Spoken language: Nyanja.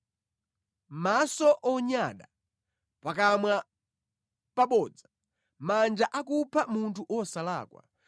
maso onyada, pakamwa pabodza, manja akupha munthu wosalakwa,